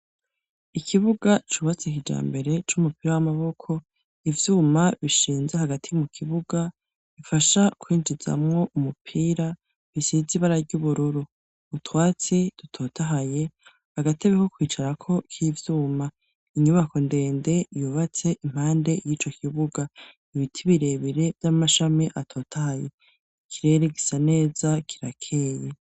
Ikibuga cubatse kija mbere c'umupira w'amaboko, ivyuma bishinze hagati mu kibuga bifasha kwinjizamwo umupira ,bisiz'ibara ry'ubururu, utwatsi dutotahaye, agatebe ko kwicarako k'ivyuma ,inyubako ndende yubatse impande y'ico kibuga ,ibiti birebire vy'amashami atotahaye, ikirere gisa neza kirakeye.